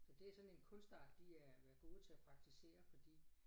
Så det sådan en kunstart de er været gode til at praktisere fordi